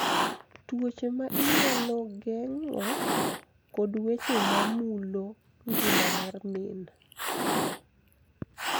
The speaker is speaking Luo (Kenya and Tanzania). Tuoche ma inyalo geng�o, kod weche mamulo ngima mar min.